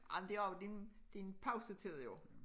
Ej men det også jo det det pausetid jo